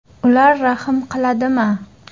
Ular rahm qiladimi?